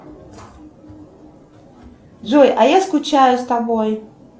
джой а я скучаю с тобой